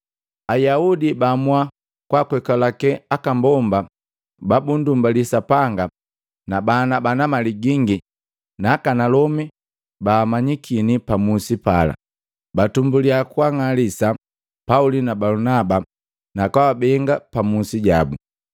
Ayaudi baamua kwakwelake aka mbomba babunndumbali Sapanga na bana mali gingi naakanalomi baamanyikini pa musi pala. Batumbulia kwaang'alisa Pauli na Balunaba na kwaabenga pa musi jabu.